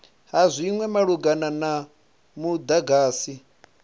ha zwinwe malugana na mudagasi